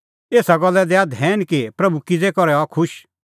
एसा गल्ला दैआ धैन कि प्रभू किज़ू करै हआ खुश